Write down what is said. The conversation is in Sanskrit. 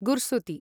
गुर्सुति